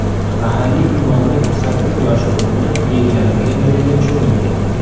Mahalliy imomning sakkiz yoshli o‘g‘li belgilanmagan joyda cho‘milgan.